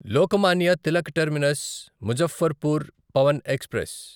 Lokmanya Tilak terminus Muzaffarpur Pawan express